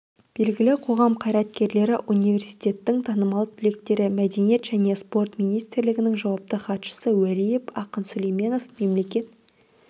белгілі қоғам қайраткерлері университеттің танымал түлектері мәдениет және спорт министрлігінің жауапты хатшысы уәлиев ақын сүлейменов мемлекет